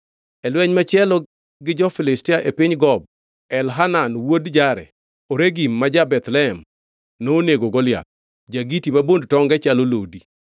E lweny machielo gi jo-Filistia e piny Gob Elhanan wuod Jare-Oregim ma ja-Bethlehem nonego Goliath, ja-Giti ma bond tonge chalo lodi.